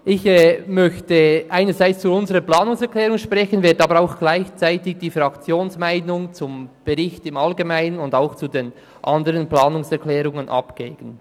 Ich möchte einerseits zu unserer Planungserklärung sprechen, werde aber auch die Fraktionsmeinung zum Bericht im Allgemeinen und zu den anderen Planungserklärungen abgeben.